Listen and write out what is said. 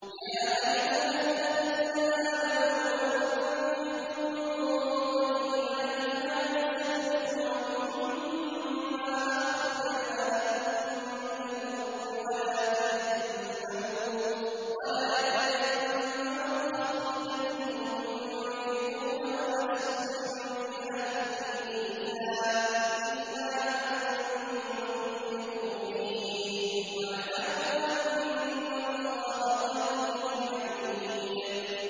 يَا أَيُّهَا الَّذِينَ آمَنُوا أَنفِقُوا مِن طَيِّبَاتِ مَا كَسَبْتُمْ وَمِمَّا أَخْرَجْنَا لَكُم مِّنَ الْأَرْضِ ۖ وَلَا تَيَمَّمُوا الْخَبِيثَ مِنْهُ تُنفِقُونَ وَلَسْتُم بِآخِذِيهِ إِلَّا أَن تُغْمِضُوا فِيهِ ۚ وَاعْلَمُوا أَنَّ اللَّهَ غَنِيٌّ حَمِيدٌ